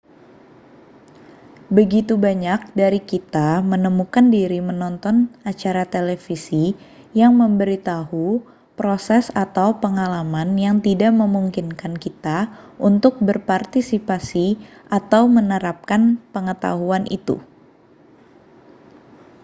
begitu banyak dari kita menemukan diri menonton acara televisi yang memberi thau proses atau pengalaman yang tidak memungkinkan kita untuk berpartisipasi atau menerapkan pengetahuan itu